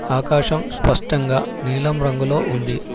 ఆకాశం స్పష్టంగా నీలం రంగులో ఉంది.